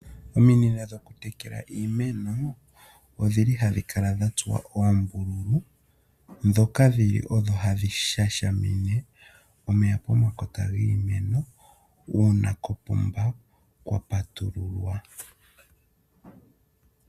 Ominino dhokutekela iimeno odhili hadhi kala dha tsuwa oombululu. Ndhoka dhili odho hadhi shashamine omeya pomakota giimeno uuna kopomba kwa patululwa.